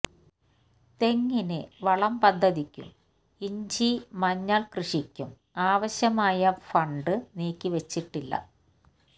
തെങ്ങിന് വളം പദ്ധതിക്കും ഇഞ്ചി മഞ്ഞള് കൃഷിക്കും ആവശ്യമായ ഫണ്ട് നീക്കിവെച്ചിട്ടില്ല